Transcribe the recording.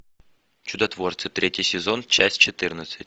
чудотворцы третий сезон часть четырнадцать